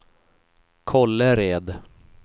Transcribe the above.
Kållered